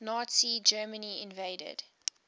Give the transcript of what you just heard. nazi germany invaded